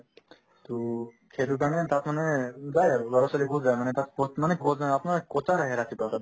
to সেইটোৰ কাৰণে তাত মানে যায় আৰু ল'ৰা-ছোৱালী বহুত যায় মানে তাত coach মানে coach অ আপোনাৰ coach আহে ৰাতিপুৱা তাতে